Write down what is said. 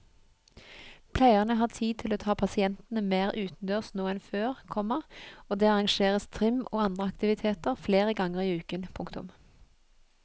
Pleierne har tid til å ta pasientene mer utendørs nå enn før, komma og det arrangeres trim og andre aktiviteter flere ganger i uken. punktum